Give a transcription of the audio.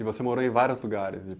E você morou em vários lugares?